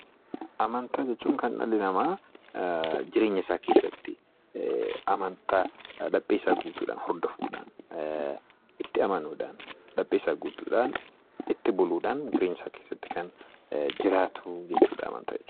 Amantaa jechuun kan dhalli namaa jireenya isaa keessatti amantaa laphee isaa guutuu dhaan hordofuu dhaan, itti amanuu dhaan, laphee isaa guutuu dhaan itti buluu dhaan jireenya isaa keessatti kan jiraatu jechuu dha Amantaa jechuun.